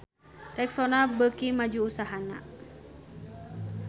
Rexona beuki maju usahana